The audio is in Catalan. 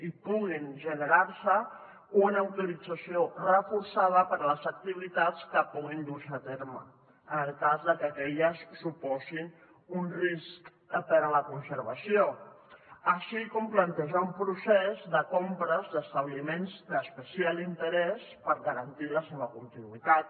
i puguin generar se una autorització reforçada per a les activitats que puguin dur s’hi a terme en el cas que aquelles suposin un risc per a la conservació així com plantejar un procés de compres d’establiments d’especial interès per garantir la seva continuïtat